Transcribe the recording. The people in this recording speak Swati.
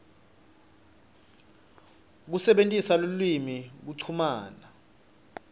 kusebentisa lulwimi kuchumana